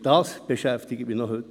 Das beschäftigt mich noch heute.